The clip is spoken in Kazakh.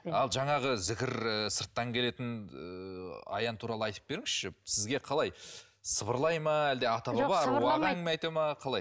ал жаңағы зікір і сырттан келетін аян туралы айтып беріңізші сізге қалай сыбырлай ма қалай